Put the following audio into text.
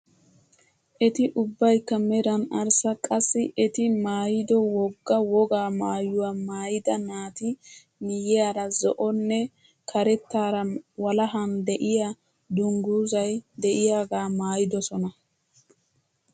Eti ubbaykka meran arssa qassi eti maayido wogga wogaa maayuwa maayida naati miyyiyaara zo'onne karettaara walahan de'iyaa dungguzay de'iyaagaa maayidosona!